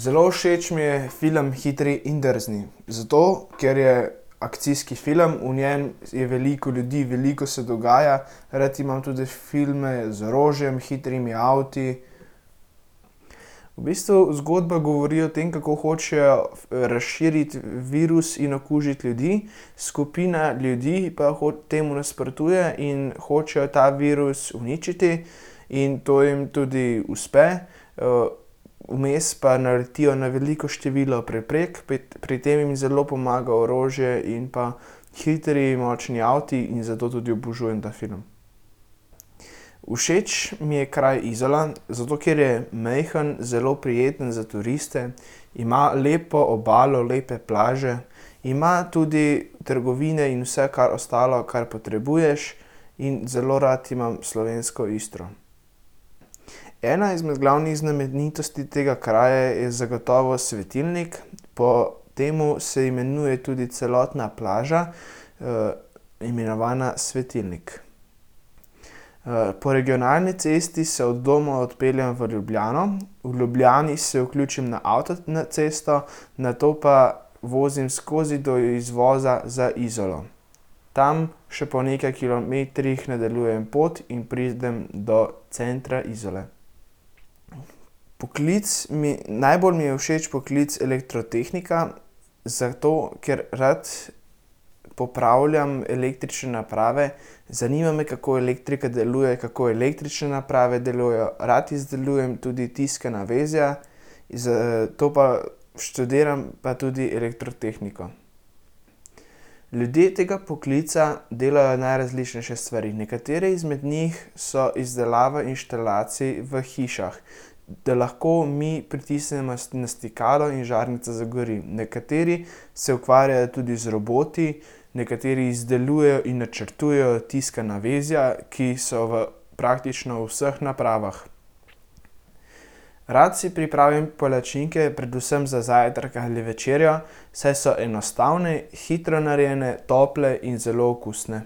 Zelo všeč mi je film Hitri in drzni. Zato ker je akcijski film. V njem je veliko ljudi, veliko se dogaja. Rad imam tudi filme z orožjem, hitrimi avti. V bistvu zgodba govori o tem, kako hočejo razširiti virus in okužiti ljudi. Skupina ljudi pa temu nasprotuje in hoče ta virus uničiti. In to jim tudi uspe, vmes pa naletijo na veliko število preprek, pri tem jim zelo pomaga orožje in pa hitri, močni avti in zato tudi obožujem ta film. Všeč mi je kraj Izola, zato ker je majhen, zelo prijeten za turiste, ima lepo obalo, lepe plaže, ima tudi trgovine in vse, kar, ostalo, kar potrebuješ, in zelo rad imam slovensko Istro. Ena izmed glavnih znamenitosti tega kraja je zagotovo svetilnik. Po tem se imenuje tudi celotna plaža, imenovana Svetilnik. po regionalni cesti se od doma odpeljem v Ljubljano, v Ljubljani se vključim na na, cesto nato pa vozim skozi do izvoza za Izolo. Tam še po nekaj kilometrih nadaljujem pot in pridem do centra Izole. Poklic mi, najbolj mi je všeč poklic elektrotehnika, zato, ker rad popravljam električne naprave. Zanima me, kako elektrika deluje, kako električne naprave delujejo. Rad izdelujem tudi tiskana vezja. Zato pa študiram pa tudi elektrotehniko. Ljudje tega poklica delajo najrazličnejše stvari. Nekatere izmed njih so izdelava inštalacij v hišah. Da lahko mi pritisnemo na stikalo in žarnica zagori. Nekateri se ukvarjajo tudi z roboti, nekateri izdelujejo in načrtujejo tiskana vezja, ki so v praktično vseh napravah. Rad si pripravim palačinke, predvsem za zajtrk ali večerjo, saj so enostavne, hitro narejene, tople in zelo okusne.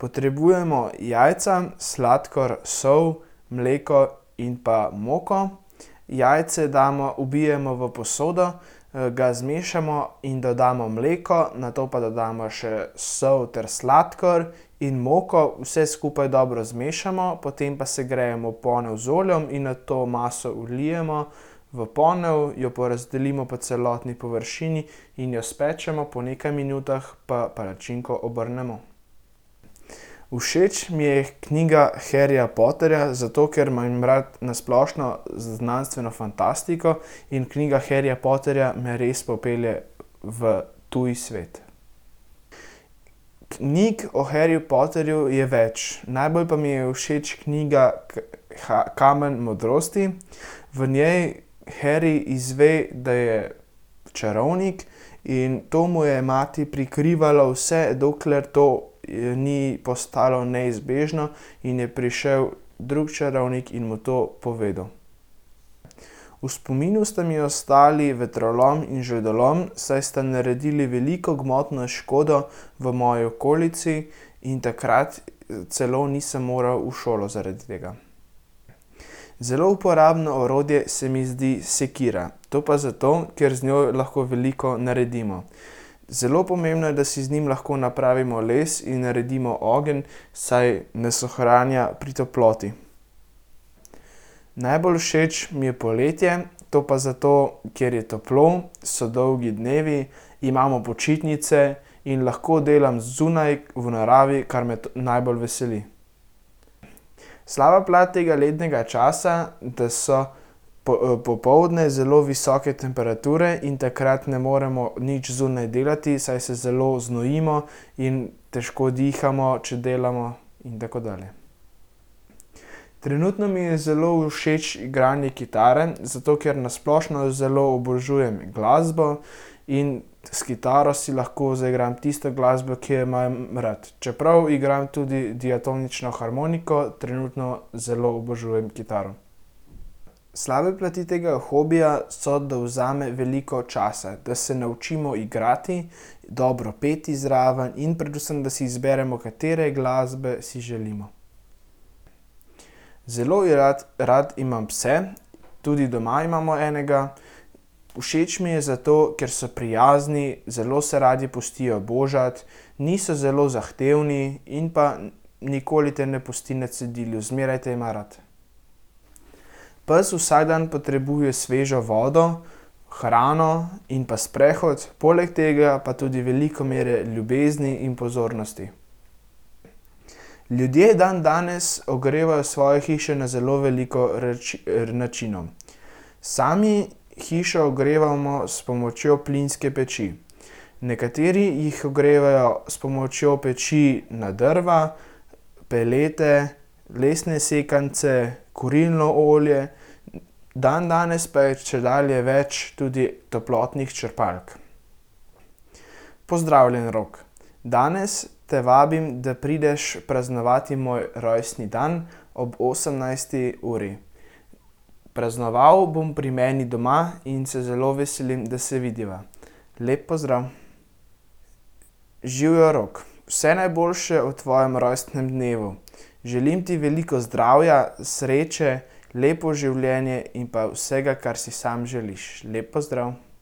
Potrebujemo jajca, sladkor, sol, mleko in pa moko. Jajce damo, ubijemo v posodo, ga zmešamo in dodamo mleko, nato pa dodamo še sol ter sladkor in moko. Vse skupaj dobro zmešamo, potem pa segrejemo ponev z oljem in nato maso vlijemo v ponev, jo porazdelimo po celotni površini in jo spečemo. Po nekaj minutah pa palačinko obrnemo. Všeč mi je knjiga Harryja Potterja, zato ker imam rad na splošno znanstveno fantastiko in knjiga Harryja Potterja me res popelje v tuj svet. Knjig o Harryju Potterju je več. Najbolj pa mi je všeč knjiga Kamen modrosti. V njej Harry izve, da je čarovnik, in to mu je mati prikrivala, vse dokler to ni postalo neizbežno in je prišel drug čarovnik in mu to povedal. V spominu sta mi ostala vetrolom in žledolom. Saj sta naredila veliko gmotno škodo v moji okolici in takrat celo nisem moral v šolo zaradi tega. Zelo uporabno orodje se mi zdi sekira. To pa zato, ker z njo lahko veliko naredimo. Zelo pomembno je, da si z njim lahko napravimo les in naredimo ogenj, saj nas ohranja pri toploti. Najbolj všeč mi je poletje. To pa zato, ker je toplo, so dolgi dnevi, imamo počitnice in lahko delam zunaj v naravi, kar me najbolj veseli. Slaba plat tega letnega časa, da so popoldne zelo visoke temperature in takrat ne moremo nič zunaj delati, saj se zelo znojimo in težko dihamo, če delamo. In tako dalje. Trenutno mi je zelo všeč igranje kitare, zato ker na splošno zelo obožujem glasbo, in s kitaro si lahko zaigram tisto glasbo, ki jo imam rad, čeprav igram tudi diatonično harmoniko, trenutno zelo obožujem kitaro. Slabe plati tega hobija so, da vzame veliko časa, da se naučimo igrati, dobro peti zraven in predvsem da si izberemo, katere glasbe si želimo. Zelo rad, rad imam pse, tudi doma imamo enega. Všeč mi je zato, ker so prijazni, zelo se radi pustijo božati, niso zelo zahtevni in pa nikoli te ne pusti na cedilu. Zmeraj te ima rad. Pes vsak dan potrebuje svežo vodo, hrano in pa sprehod, poleg tega pa tudi veliko mero ljubezni in pozornosti. Ljudje dandanes ogrevajo svoje hiše na zelo veliko načinov. Sami hišo ogrevamo s pomočjo plinske peči. Nekateri jih ogrevajo s pomočjo peči na drva, pelete, lesne sekance, kurilno olje, dandanes pa je čedalje več tudi toplotnih črpalk. Pozdravljen, Rok. Danes te vabim, da prideš praznovat moj rojstni dan ob osemnajsti uri. Praznovali bom pri meni doma in se zelo veselim, da se vidiva. Lep pozdrav. Živjo, Rok. Vse najboljše ob tvojem rojstnem dnevu, želim ti veliko zdravja, sreče, lepo življenje in pa vsega, kar si sam želiš. Lep pozdrav.